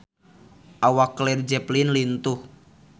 Awak Led Zeppelin lintuh